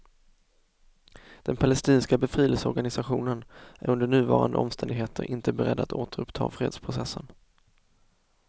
Den palestinska befrielseorganisationen är under nuvarande omständigheter inte beredd att återuppta fredsprocessen.